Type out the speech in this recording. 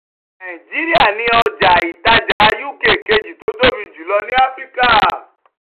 nàìjíríà ni ọjà ìtajà uk kejì tó tóbi jùlọ ní áfíríkà.